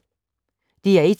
DR1